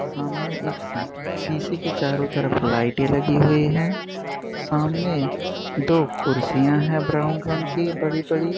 सामने एक शी शीशे के चारों तरफ़ लाईटे लगी हुई है सामने दो कुर्सियां है ब्राउन रंग की बड़ी बड़ी |